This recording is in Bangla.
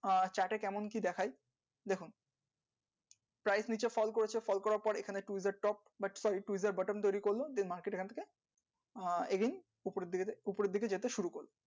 আর ছারটা candle কে দেখাই prime, feature, call করার পরে user, button